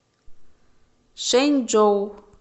шэнчжоу